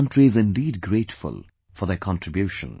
The country is indeed grateful for their contribution